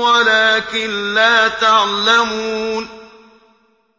وَلَٰكِن لَّا تَعْلَمُونَ